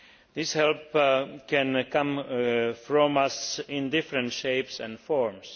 This help can come from us in different shapes and forms.